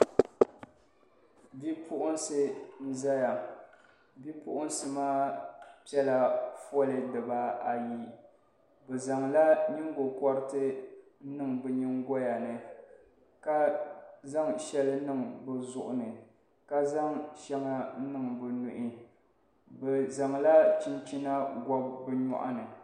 Bipuɣinsi n zaya bipuɣinsi maa piɛla foli dibaayi bi zaŋ la nyingokɔriti niŋ bi nyiŋgoya ni ka zaŋ shɛli niŋ bi zuɣu ni ka zaŋ shɛŋa niŋ bi nuhi bi zaŋ la chinchina n gɔbi bi yɔɣu ni